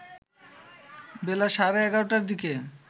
বেলা সাড়ে ১১টার দিকে